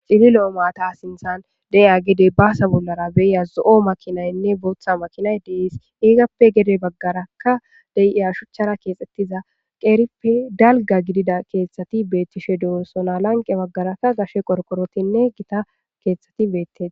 Cililo maathaa sinththan de7iya gedee baasa bollaara zo7o makiinanne booththa makiinay de7ees; ethappe gede baggarakka de7iya shuchchaara keexeththida qeerippe dalgga gidida keeththathi beeththishe de7oosona; lanqqe baggaarakka gashe qorqqoroththinne githa keeththathi beeththees.